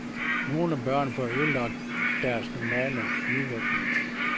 Nogle børn får ødelagt deres normale udvikling.